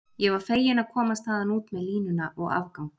Ég var fegin að komast þaðan út með línuna og afgang